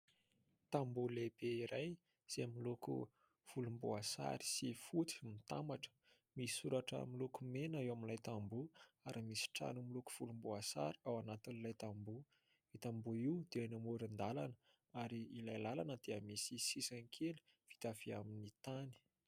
Tamboho lehibe iray izay miloko volomboasary sy fotsy mitambatra. Misy soratra miloko mena eo amin'ilay tamboho ary misy trano miloko volomboasary ao anatin'ilay tamboho. Io tamboho io dia eny amoron-dalana ary ilay lalana dia misy sisiny kely vita avy amin'ny tany.